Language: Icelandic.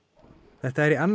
þetta er í annað